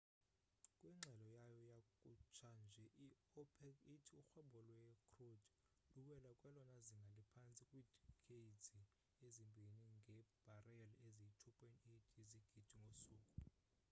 kwingxelo yayo yakhutsha nje i opec ithi urhwebo lwe crude luwele kwelona zinga liphantsi kwidikeydzi ezimbini ngebhareli eziyi 2.8 yezigidi ngosuku